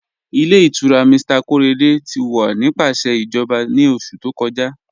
Ilẹ̀ ìtura Mr Korede ti wọ́ nípasẹ̀ ijọba ni oṣù tó kọ́jà